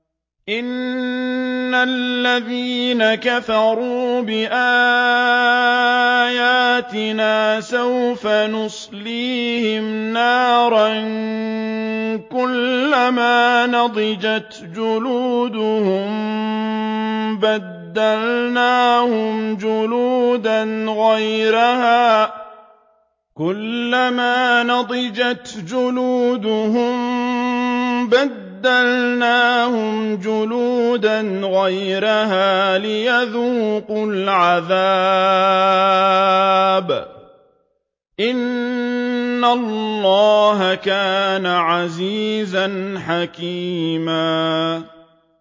إِنَّ الَّذِينَ كَفَرُوا بِآيَاتِنَا سَوْفَ نُصْلِيهِمْ نَارًا كُلَّمَا نَضِجَتْ جُلُودُهُم بَدَّلْنَاهُمْ جُلُودًا غَيْرَهَا لِيَذُوقُوا الْعَذَابَ ۗ إِنَّ اللَّهَ كَانَ عَزِيزًا حَكِيمًا